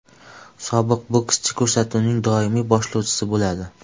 Sobiq bokschi ko‘rsatuvning doimiy boshlovchisi bo‘ladi.